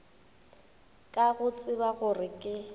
ka go tseba gore ke